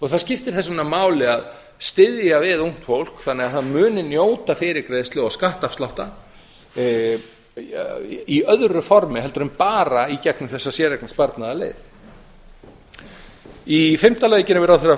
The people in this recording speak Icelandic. það skiptir þess vegna máli að styðja við ungt fólk þannig að það muni njóta fyrirgreiðslu og skattafslátta í öðru formi heldur en bara í brýnum þessa séreignarsparnaðarleið í fimmta lagi gerum við ráð fyrir að